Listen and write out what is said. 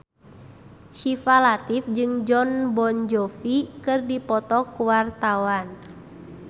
Syifa Latief jeung Jon Bon Jovi keur dipoto ku wartawan